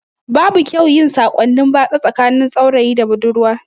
Babu kyau yin sakonni batsa tsakanin saurayi da budurwa